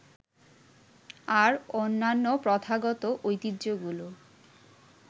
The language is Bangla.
আর অন্যান্য প্রথাগত ঐতিহ্যগুলো